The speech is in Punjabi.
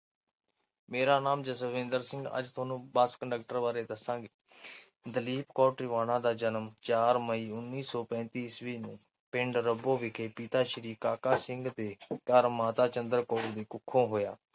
ਮੇਰਾ ਨਾਂ ਜਸਵਿੰਦਰ ਸਿੰਘ ਅੱਜ ਤੁਹਾਨੂੰ ਬੱਸ ਕੰਡਕਟਰ ਬਾਰੇ ਦੱਸਾਂਗੇ, ਦਲੀਪ ਕੌਰ ਟਿਵਾਣਾ ਦਾ ਜਨਮ ਚਾਰ ਮਈ ਉੱਨੀ ਸੌ ਪੈਂਤੀ ਈਸਵੀ ਨੂੰ ਪਿੰਡ ਰੱਬੋ ਵਿਖੇ ਪਿਤਾ ਸ਼੍ਰੀ ਕਾਕਾ ਸਿੰਘ ਦੇ ਘਰ ਮਾਤਾ ਚੰਦਰ ਕੌਰ ਦੀ ਕੁੱਖੋਂ ਹੋਇਆ।